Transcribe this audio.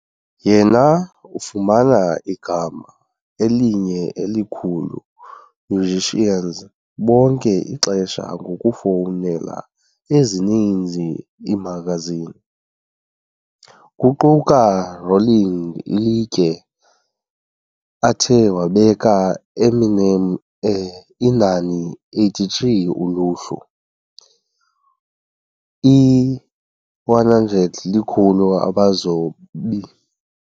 Yena ufumana igama elinye elikhulu musicians bonke ixesha ngokufowunela ezininzi iimagazini, kuquka Rolling Ilitye, athe wabeka Eminem e inani 83 kwi uluhlu i-100 likhulu abazobi.